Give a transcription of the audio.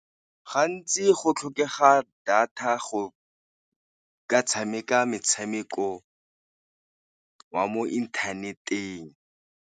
Gantsi go tlhokega data go ka tshameka metshameko wa mo inthaneteng.